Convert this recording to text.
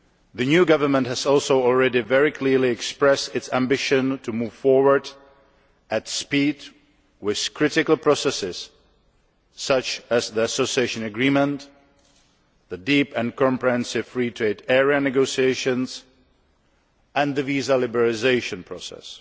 The new government has also already very clearly expressed its ambition to move forward at speed with critical processes such as the Association Agreement, the Deep and Comprehensive Free Trade Area negotiations, and the visa liberalisation process.